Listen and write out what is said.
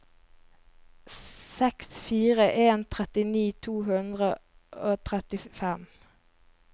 seks fire to en trettini to hundre og trettifem